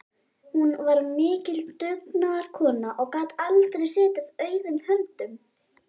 Hún var mikil dugnaðarkona og gat aldrei setið auðum höndum.